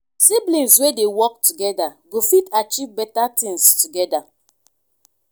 siblings wey dey work together go fit achieve better things together.